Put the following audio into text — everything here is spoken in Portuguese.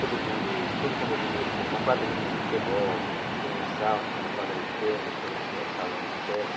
Todo mundo, todo condomínio hoje tem uma quadrinha de futebol, tem a sauna, tem uma quadra de tênis, tem o sa salão de festa.